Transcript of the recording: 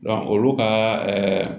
olu ka